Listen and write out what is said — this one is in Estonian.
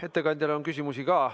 Ettekandjale on ka küsimusi.